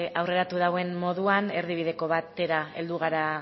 aurreratu dauen moduan erdibideko batera heldu gara